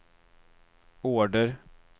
order